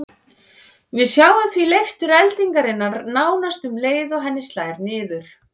Við sjáum því leiftur eldingarinnar nánast um leið og henni slær niður.